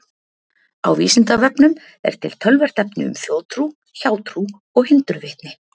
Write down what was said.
Á Vísindavefnum er til töluvert efni um þjóðtrú, hjátrú og hindurvitni.